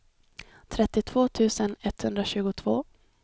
trettiotvå tusen etthundratjugotvå